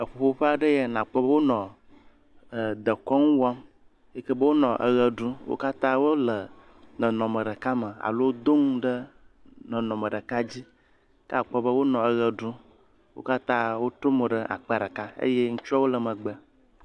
Eʋuƒoƒe aɖe ye ya nakpɔ be wonɔ dekɔŋu wɔm, yike be wonɔeɣe ɖum. Wo katã wole nɔnɔme ɖeka me alo do ŋu ɖe nɔnɔme ɖeka dzi. Ke akpɔ be wonɔ eɣe ɖum. Wo katã wotrɔ mo ɖe akpa ɖeka eye ŋutsua wole megbe.